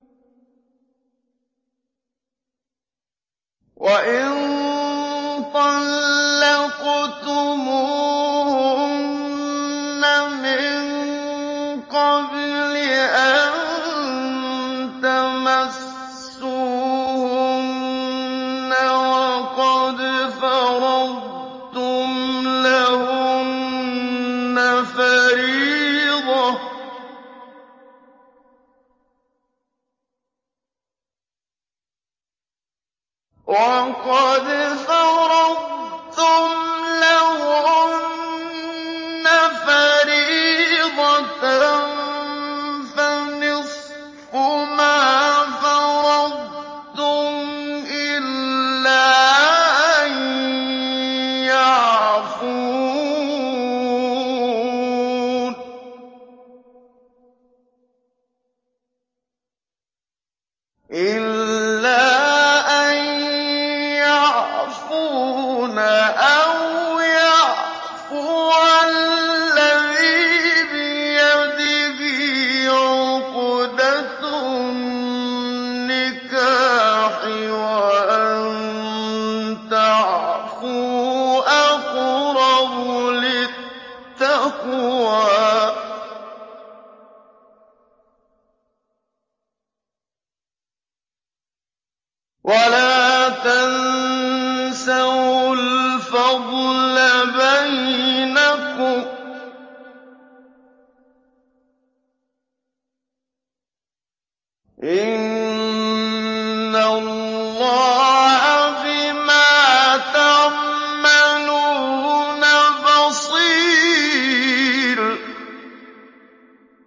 وَإِن طَلَّقْتُمُوهُنَّ مِن قَبْلِ أَن تَمَسُّوهُنَّ وَقَدْ فَرَضْتُمْ لَهُنَّ فَرِيضَةً فَنِصْفُ مَا فَرَضْتُمْ إِلَّا أَن يَعْفُونَ أَوْ يَعْفُوَ الَّذِي بِيَدِهِ عُقْدَةُ النِّكَاحِ ۚ وَأَن تَعْفُوا أَقْرَبُ لِلتَّقْوَىٰ ۚ وَلَا تَنسَوُا الْفَضْلَ بَيْنَكُمْ ۚ إِنَّ اللَّهَ بِمَا تَعْمَلُونَ بَصِيرٌ